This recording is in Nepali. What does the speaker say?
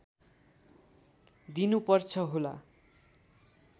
दिनु पर्छ होला